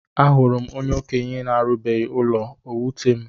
Ahụrụ m onye okenye arubeghi ụlọ o wutam